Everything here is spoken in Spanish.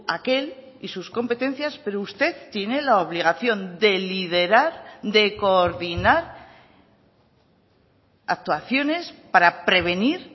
aquel y sus competencias pero usted tiene la obligación de liderar de coordinar actuaciones para prevenir